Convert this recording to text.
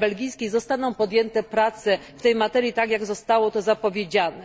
belgijskiej zostaną podjęte prace w tej materii tak, jak zostało to zapowiedziane.